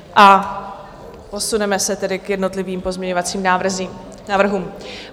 A posuneme se tedy k jednotlivým pozměňovacím návrhům.